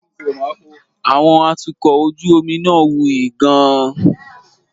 Àwọn atukọ̀ ojú omi náà wuyì gan-an.